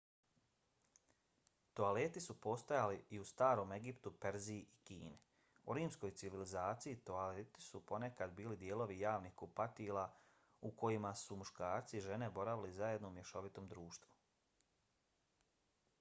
toaleti su postojali i u starom egiptu perziji i kini. u rimskoj civilizaciji toaleti su ponekad bili dijelovi javnih kupatila u kojima su muškarci i žene boravili zajedno u mješovitom društvu